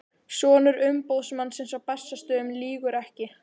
Sonur umboðsmannsins á Bessastöðum lýgur ekki.